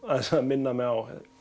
minna mig á